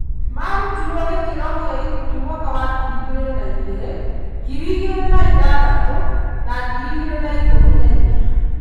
Marutirwo gĩkĩro kĩa ikundi mwaka wa ngiri igĩrĩ na igĩrĩ, ngiri igĩrĩ na ithathatũ na ngiri igĩrĩ na ikũmi na inya.